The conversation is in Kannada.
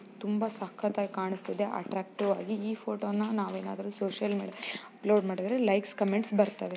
ತುಂಬಾ ಸಕ್ಕತ್ತಾಗಿ ಕಾಣಿಸ್ತಿದೆ ಅಟ್ಟ್ರಕ್ಟಿವ್ ಆಗಿ ಈ ಫೋಟೋನ ನಾವೇನಾದ್ರೂ ಸೋಶಿಯಲ್ ಮೀಡಿಯಾದಲ್ಲಿ ಅಪ್ಲೋಡ್ ಮಾಡಿದ್ರೆ ಲೈಕ್ಸ್ ಕಮೆಂಟ್ಸ್ ಬರ್ತವೆ.